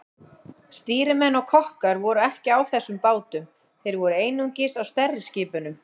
Stýrimenn og kokkar voru ekki á þessum bátum, þeir voru einungis á stærri skipunum.